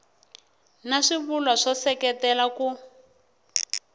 na swivulwa swo seketela ku